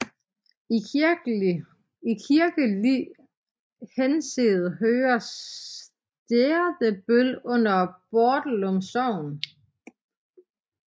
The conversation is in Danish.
I kirkelig henseende hører Sterdebøl under Bordelum Sogn